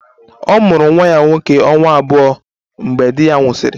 Ọ mụrụ nwa ya nwoke ọnwa abụọ mgbe di ya nwụsịrị